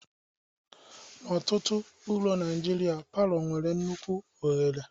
N'ọtụtụ ụlọ Naijiria, palọ nwere nnukwu oghere